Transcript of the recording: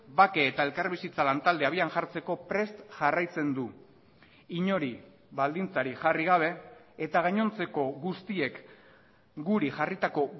bake eta elkarbizitza lantaldea abian jartzeko prest jarraitzen du inori baldintzarik jarri gabe eta gainontzeko guztiek guri jarritako